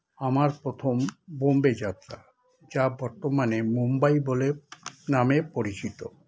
আমার প্রথম বোম্বে যাত্রা যা বর্তমানে মুম্বাই বলে নামে পরিচিত